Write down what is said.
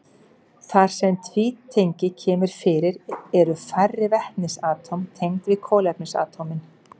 Þar sem tvítengi kemur fyrir eru færri vetnisatóm tengd við kolefnisatómin.